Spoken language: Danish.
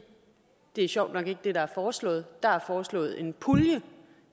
det sjovt nok ikke er det der er foreslået der er foreslået en pulje